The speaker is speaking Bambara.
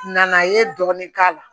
Nana i ye dɔɔnin k'a la